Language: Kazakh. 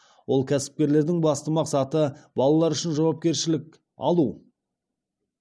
ол кәсіпкерлердің басты мақсаты балалар үшін жауапкершілік алу